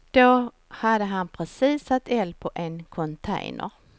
Då hade han precis satt eld på en container.